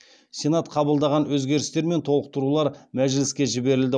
сенат қабылдаған өзгерістер мен толықтырулар мәжіліске жіберілді